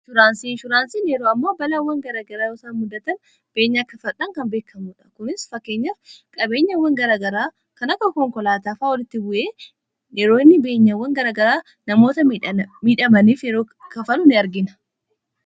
shuraansii shuraansiin yeroo ammoo balawwan garagaraasa muddatan beenyaa kafadhaan kan beekamuudha kunis fakkeenyaf qabeenyawwan garagaraa kanaka konkolaataafaa wolitti bu'ee yeroonni beenyawwan garagaraa namoota midhamaniif yeroo kafaluu ni argina